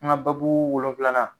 An ka babu wolonvilanan